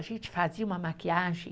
A gente fazia uma maquiagem